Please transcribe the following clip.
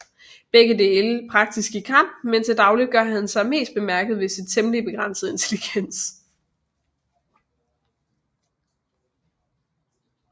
Begge dele praktisk i kamp men til dagligt gør han sig mest bemærket ved sin temmelig begrænsede intelligens